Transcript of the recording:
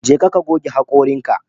Jeka ka goge hakoranka